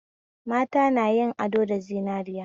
Mata na yin ado da zinariya